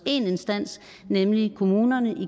én instans nemlig kommunerne